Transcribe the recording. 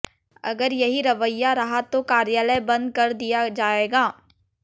अगर यहीं रवैया रहा तो कार्यालय बंद कर दिया जाएगा